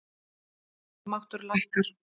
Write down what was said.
Kaupmáttur hækkar